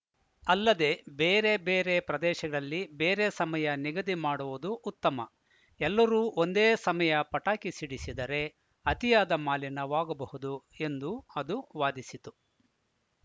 ಅಲ್ಲದೆ ಬೇರೆಬೇರೆ ಪ್ರದೇಶದಲ್ಲಿ ಬೇರೆ ಸಮಯ ನಿಗದಿ ಮಾಡುವುದು ಉತ್ತಮ ಎಲ್ಲರೂ ಒಂದೇ ಸಮಯ ಪಟಾಕಿ ಸಿಡಿಸಿದರೆ ಅತಿಯಾದ ಮಾಲಿನ್ಯವಾಗಬಹುದು ಎಂದು ಅದು ವಾದಿಸಿತು